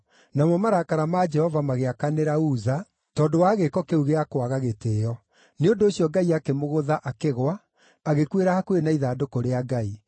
Namo marakara ma Jehova magĩakanĩra Uza tondũ wa gĩĩko kĩu gĩa kwaga gĩtĩĩo; Nĩ ũndũ ũcio Ngai akĩmũgũtha akĩgũa, agĩkuĩra hakuhĩ na ithandũkũ rĩa Ngai.